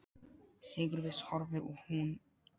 Sigurviss horfir hún út í grámann.